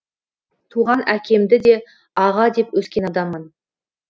туған әкемді де аға деп өскен адаммын